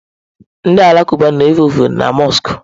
Ndị Alakụba na-efe ofufe na mọsk.